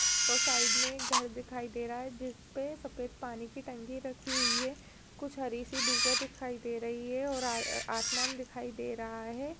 --और साईड में एक घर दिखाई दे रहा है जिसपे सफ़ेद पानी की टंकी रखी हुई है कुछ हरी सी दूबा दिखाई दे रही है और आसमान दिखाई दे रहा है।